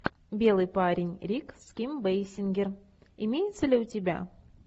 белый парень рик с ким бейсингер имеется ли у тебя